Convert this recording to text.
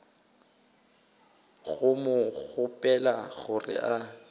go mo kgopela gore a